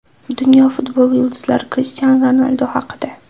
Dunyo futboli yulduzlari Krishtianu Ronaldu haqida.